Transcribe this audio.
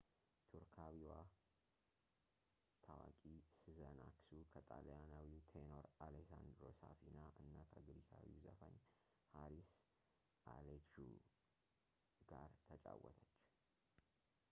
ቱርካዊዋ ታዋቂ ስዘን አክሱ ከጣሊያናዊው ቴኖር አሌሳንድሮ ሳፊና እና ከግሪካዊው ዘፋኝ ሃሪስ አሌክዡ ጋር ትጫወተች